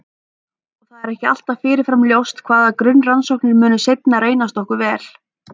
Og það er ekki alltaf fyrirfram ljóst hvaða grunnrannsóknir munu seinna reynast okkur vel.